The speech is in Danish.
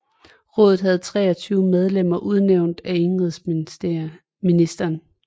Rådet havde 23 medlemmer udnævnt af indenrigsministeren